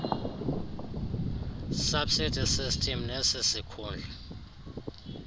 subsidy system nesisikhundla